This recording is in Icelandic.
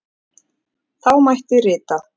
Þá mætti rita: